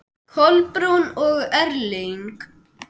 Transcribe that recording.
Kolbrún og Erling.